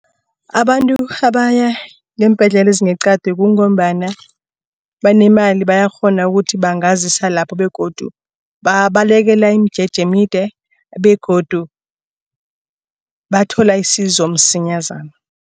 Abantu abaya ngeembhedlela ezingeqadi kungombana banemali bayakghona ukuthi bangazisa lapho begodu babalekela imijeje emide begodu bathola isizo msinyazana.